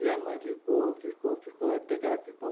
E a mãe ficou ficou ficou até que ficou